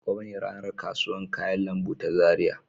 Gobe ne ranar kasuwar kayan lambu ta Zaria.